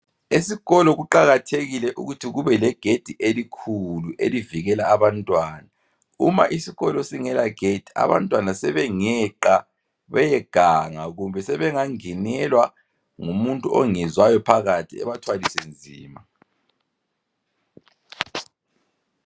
Esikolo kuqakathekile ukuthi kubelegedi elikhulu. Nxa kungela gedi abantwana sebengeqa loba bangenelwe yisigangi esingabayenzela okubi loba sibalimaze.